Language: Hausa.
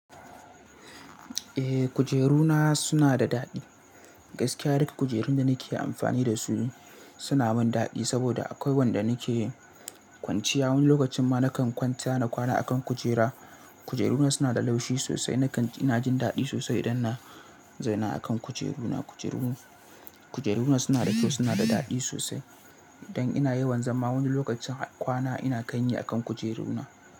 Eh, kujeru na suna da daɗi. Gaskiya duk kujerun da nake amfani da su suna mun daɗi saboda akwai wanda nake kwanciya. Wani lokacin ma nakan kwanta na kwana akan kujera. Kujeru na suna da laushi sosai. Nakan- ina jin daɗi sosai idan na zauna akan kujeru na. Kujeru-kujeru na suna da kyau, suna da daɗi sosai. Idan ina yawan zama wani lokacin har kwana ina kayi akan kujeru na.